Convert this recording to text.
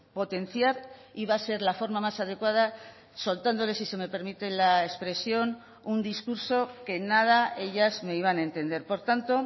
potenciar iba a ser la forma más adecuada soltándoles si se me permite la expresión un discurso que nada ellas me iban a entender por tanto